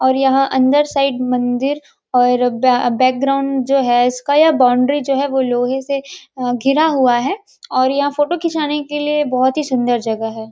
और यह अंदर साइड मंदिर और ब अ बैकग्राउंड जो है इसका या बाउंड्री जो है वो लोहे से घिरा हुआ है और यहाँ फ़ोटो खिचाने के लिए बहोत ही सुंदर जगह है ।